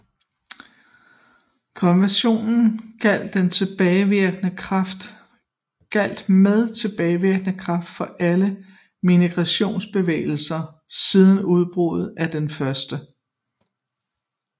Konventionen gjaldt med tilbagevirkende kraft for alle migratiosbevægelser siden udbruddet af den 1